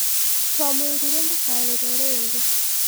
Twamwĩrire ndakarĩre rĩngĩ